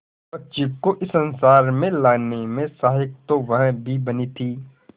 उस बच्ची को इस संसार में लाने में सहायक तो वह भी बनी थी